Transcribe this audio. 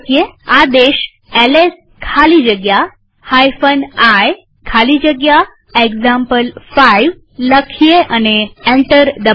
આદેશ એલએસ ખાલી જગ્યા i ખાલી જગ્યા એક્ઝામ્પલ5 લખીએ અને એન્ટર દબાવીએ